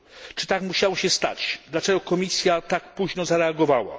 Czy tak musiało się stać? Dlaczego Komisja tak późno zareagowała?